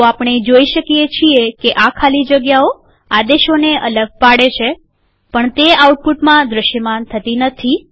તો આપણે જોઈ શકીએ છીએ કે આ ખાલી જગ્યાઓ આદેશોને અલગ પાડે છે પણ તે આઉટપુટમાં દ્રશ્યમાન થતી નથી